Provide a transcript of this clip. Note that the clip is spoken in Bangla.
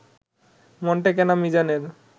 মন টেকে না মিজানের